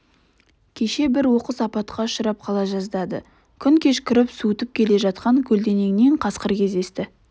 кеше бір оқыс апатқа ұшырап қала жаздады күн кешкіріп суытып келе жатқан көлденеңнен қасқыр кездесті